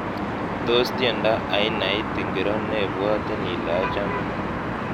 Tos tiendo ainait ingiro nebwotin ile achame